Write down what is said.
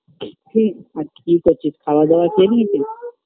আজ কি করছিস খাওয়া দাওয়া খেয়ে নিয়েছিস